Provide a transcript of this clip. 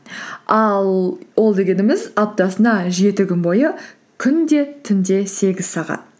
ал ол дегеніміз аптасына жеті күн бойы күнде түнде сегіз сағат